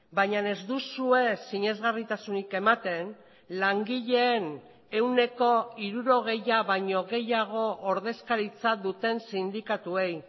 baina ez duzue sinesgarritasunik ematen langileen ehuneko hirurogeia baino gehiago ordezkaritza duten sindikatuei